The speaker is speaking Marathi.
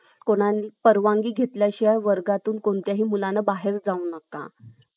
कुणालाही परवानगी घेतल्याशिवाय कुठल्याही मुलाने वर्गाबाहेर जाऊ नका